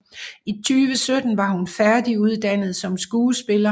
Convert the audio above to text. I 2017 var hun færdiguddannet som skuespiller